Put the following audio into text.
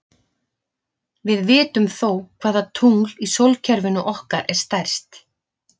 Við vitum þó hvaða tungl í sólkerfinu okkar er stærst.